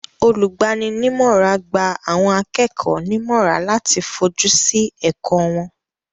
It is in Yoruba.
Olùgbani nímọ̀rà gba àwọn akẹ́kọ̀ọ́ nímọ̀rà láti fojú sí ẹ̀kọ́ wọn.